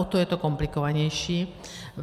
O to je to komplikovanější.